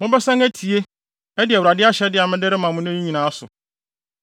Mobɛsan atie, adi Awurade ahyɛde a mede rema mo nnɛ no nyinaa so.